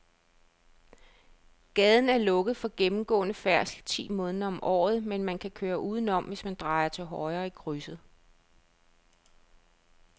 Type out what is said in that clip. Gaden er lukket for gennemgående færdsel ti måneder om året, men man kan køre udenom, hvis man drejer til højre i krydset.